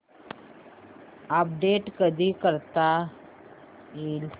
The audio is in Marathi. अपडेट कधी करता येईल